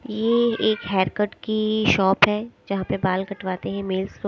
ये एक hair cut की शॉप है जहां पे बाल कटवाते हैं मेल्स लो--